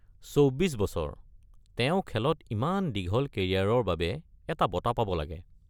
চৌব্বিশ বছৰ; তেওঁ খেলত ইমান দীঘল কেৰিয়াৰৰ বাবে এটা বঁটা পাব লাগে